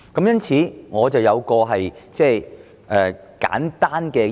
因此，我有一項簡單建議。